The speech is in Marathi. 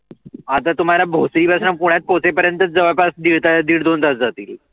आता तुम्हाला भोसरी मधनं पुण्यात पोहचे पर्यंत जवळ पास दिड दोन तास जातील.